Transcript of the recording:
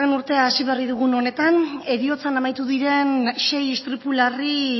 urtea hasi berri dugun honetan heriotzan amaitu diren sei istripu larri